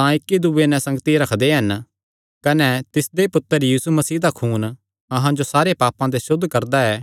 तां इक्की दूये नैं संगति रखदे हन कने तिसदे पुत्तर यीशु मसीह दा खून अहां जो सारे पापां ते सुद्ध करदा ऐ